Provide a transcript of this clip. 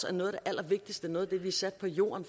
er noget af det allervigtigste noget af det vi er sat på jorden